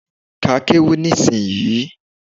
Ka kéwú ní ìsinyii